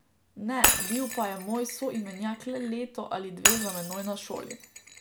Ne, bil pa je moj soimenjak le leto ali dve za menoj na šoli.